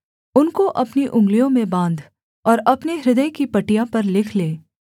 उनको अपनी उँगलियों में बाँध और अपने हृदय की पटिया पर लिख ले